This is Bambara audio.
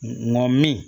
Ŋo min